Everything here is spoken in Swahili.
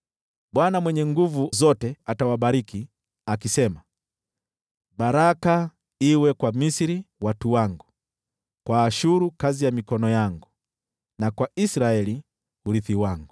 Bwana Mwenye Nguvu Zote atawabariki, akisema, “Baraka iwe kwa Misri watu wangu, kwa Ashuru kazi ya mikono yangu, na kwa Israeli urithi wangu.”